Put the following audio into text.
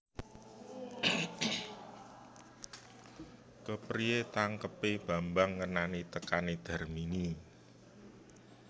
Kepriyé tangkebé Bambang ngenani tekané Darmini